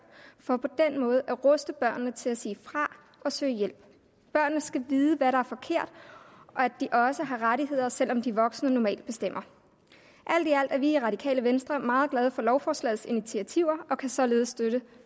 for på den måde at ruste børnene til at sige fra og søge hjælp børnene skal vide hvad der er forkert og at de også har rettigheder selv om de voksne normalt bestemmer alt i alt er vi i det radikale venstre meget glade for lovforslagets initiativer og kan således støtte